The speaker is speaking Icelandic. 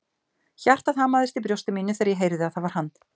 Hjartað hamaðist í brjósti mínu þegar ég heyrði að það var hann.